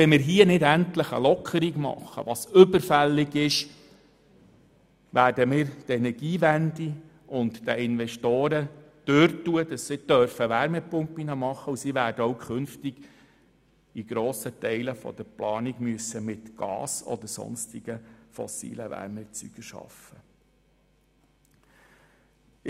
Wenn wir hier nicht endlich die überfällige Lockerung beschliessen, werden wir die Energiewende behindern und den Investoren davorstehen, Wärmepumpen zu installieren, sodass in den künftigen Planungen mit Gas oder sonstigen fossilen Wärmeerzeugern gearbeitet werden muss.